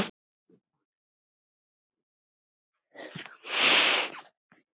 Þín Ásta Björk.